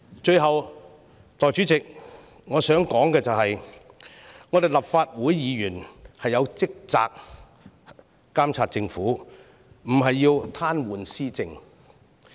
最後，代理主席，我想說的是立法會議員的職責是監察政府，而非癱瘓施政。